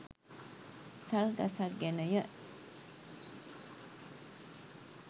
සල් ගසක් ගැනය.